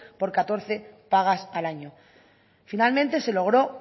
por catorce pagas al año finalmente se logró